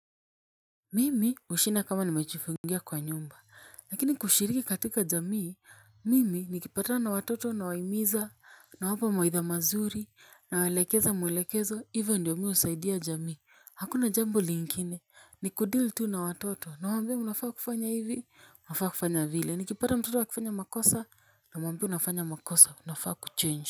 Mimi hushinfa kama nimechifungia kwa nyumba lakini kushiriki katika jamii mimi nikipatana na watoto nawahimiza nawapa mawaidha mazuri nawaelekeza mwelekezo hivyo ndio mimi husaidia jamii hakuna jambo lingine ni kudeal tu na watoto nauwaambie mnafaa kufanya hivi unafaa kufanya vile nikipata mtoto akifanya makosa namwambiw unafanya makosa unafaa kuchange.